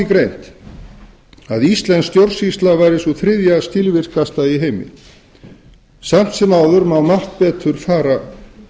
greint að íslensk stjórnsýsla væri sú þriðja skilvirkasta í heimi samt sem áður má margt betur fara